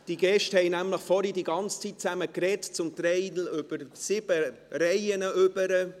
Die Gäste haben nämlich die ganze Zeit zusammen gesprochen, zum Teil über sieben Bänke hinweg.